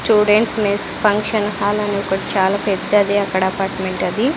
Students mess function hall అని ఒకటి చాలా పెద్దది అక్కడ అపార్ట్మెంట్ అది.